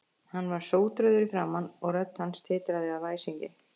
Hann var sótrauður í framan og rödd hans titraði af æsingi.